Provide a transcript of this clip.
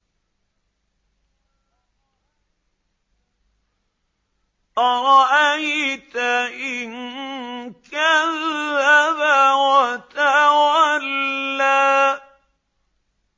أَرَأَيْتَ إِن كَذَّبَ وَتَوَلَّىٰ